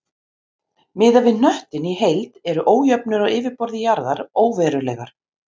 Miðað við hnöttinn í heild eru ójöfnur á yfirborði jarðar óverulegar.